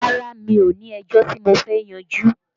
Rárá mi ò ní ẹjọ́ tí mo fẹ́ yanjú